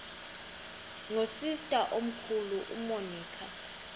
nosister omkhulu umonica